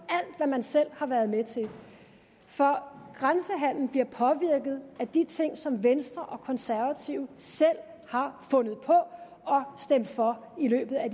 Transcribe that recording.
alt hvad man selv har været med til for grænsehandelen bliver påvirket af de ting som venstre og konservative selv har fundet på og stemt for i løbet af